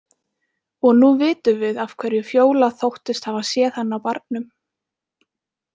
Og nú vitum við af hverju Fjóla þóttist hafa séð hann á barnum.